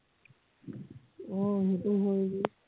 অ সেইটো হয় বে